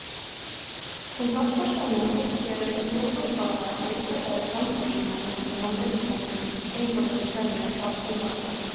Kontaktpersonene fikk til hovedoppgave å utarbeide framstillinger om behandlingsmåten innenfor de forskjellige saksområdene.